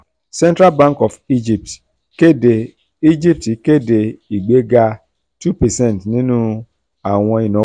central bank of egypt kéde egypt kéde ìgbéga two percent nínú àwọn ìnáwó